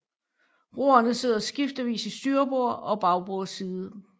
Roerne sidder skiftevis i styrbord og bagbord side